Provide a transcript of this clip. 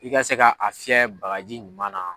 I ka se ka a fiyɛ bagaji ɲuman na